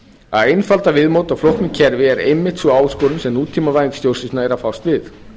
að einfalda viðmót á flóknu kerfi er einmitt sú áskorun sem nútímavæðing stjórnsýslunnar er að fást við